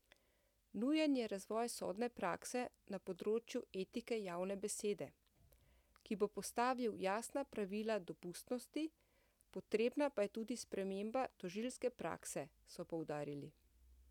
Nujen je razvoj sodne prakse na področju etike javne besede, ki bo postavil jasna pravila dopustnosti, potrebna pa je tudi sprememba tožilske prakse, so poudarili.